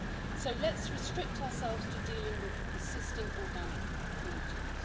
So, let's restrict ourselves to dealing with the persistent organic pollutants.